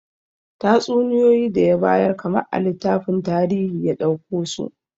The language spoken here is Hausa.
Tatsuniyoyi da ya bayar kamar a littafin tarihi ya dauko su